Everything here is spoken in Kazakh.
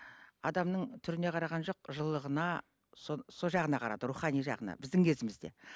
адамның түріне қараған жоқ жылылығына сол жағына қарады рухани жағына біздің кезімізде